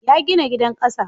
Ya gina gidan ƙasa